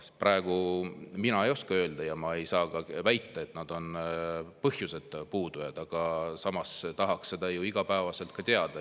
Praegu mina ei oska öelda ja ma ei saa väita, et nad on põhjuseta puudujad, aga samas tahaks seda ju igapäevaselt teada.